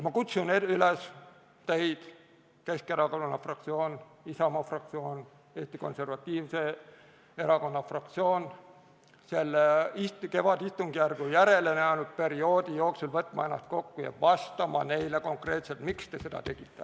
Ma kutsun üles teid, Keskerakonnana fraktsioon, Isamaa fraktsioon, Eesti Konservatiivse Erakonna fraktsioon, selle kevadistungjärgu järelejäänud perioodi jooksul võtma ennast kokku ja vastama neile konkreetselt, miks te seda tegite.